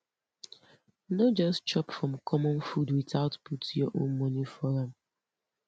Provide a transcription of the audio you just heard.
no just chop from common food without put your own money for am